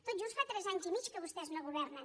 tot just fa tres anys i mig que vostès no governen